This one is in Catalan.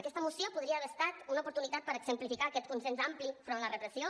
aquesta moció podria haver estat una oportunitat per exemplificar aquest consens ampli davant la repressió